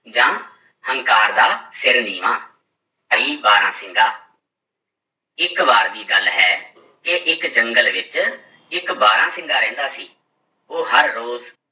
ਜਾਂ ਹੰਕਾਰ ਦਾ ਸਿਰ ਨੀਵਾਂ ਬਾਰਾਂਸਿੰਗਾ ਇੱਕ ਵਾਰ ਦੀ ਗੱਲ ਹੈ ਕਿ ਇੱਕ ਜੰਗਲ ਵਿੱਚ ਇੱਕ ਬਾਰਾਂਸਿੰਗਾ ਰਹਿੰਦਾ ਸੀ, ਉਹ ਹਰ ਰੋਜ਼